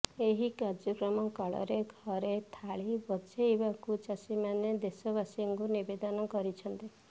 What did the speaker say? ଏହି କାର୍ଯ୍ୟକ୍ରମ କାଳରେ ଘରେ ଥାଳି ବଜେଇବାକୁ ଚାଷୀମାନେ ଦେଶବାସୀଙ୍କୁ ନିବେଦନ କରିଛନ୍ତି